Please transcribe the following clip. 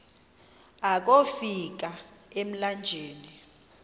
akofi ka emlanjeni